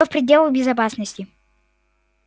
но в пределах безопасности